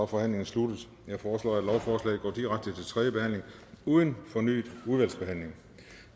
forhandlingen sluttet jeg foreslår at lovforslaget går direkte til tredje behandling uden fornyet udvalgsbehandling